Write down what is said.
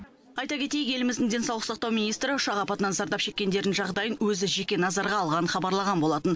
айта кетейік еліміздің денсаулық сақтау министрі ұшақ апатынан зардап шеккендердің жағдайын өзі жеке назарға алғанын хабарлаған болатын